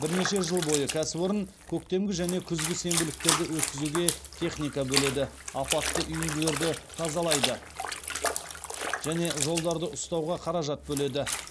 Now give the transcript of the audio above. бірнеше жыл бойы кәсіпорын көктемгі және күзгі сенбіліктерді өткізуге техника бөледі апатты үйінділерді тазалайды және жолдарды ұстауға қаражат бөледі